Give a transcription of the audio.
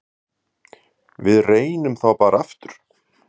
Við reynum þá bara aftur.